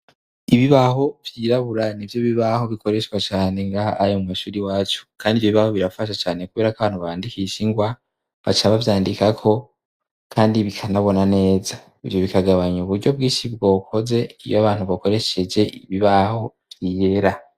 Ibibaho vyirabura nivyo bibaho bikoreshwa cyane ngaha anye mu mashure iwacu kandi ivyo bibaho birafasha cane kubera ko abantu bandikisha ingwa baca bavyandikako kandi bikanabona neza, ivyo bikagabanya uburyo bwinshi bwokoze iyo abantu bakoresheje ibibaho vyera.